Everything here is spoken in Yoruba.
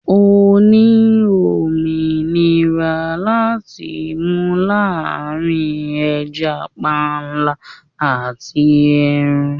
O ní òmìnira láti mú láàrín ẹja panla àti ẹran.